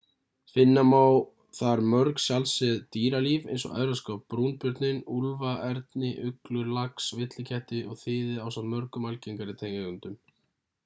finna má þar mjög sjaldséð dýralíf eins og evrópska brúnbjörninn úlfa erni uglur lax villiketti og þiði ásamt mörgum algengari tegundum